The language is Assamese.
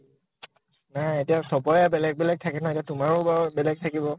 নাই। এতিয়া চবৰে বেলেগ বেলেগ থাকে ন। এতিয়া তোমাৰো বেলেগ থাকিব।